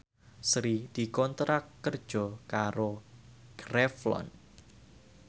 Sri dikontrak kerja karo Revlon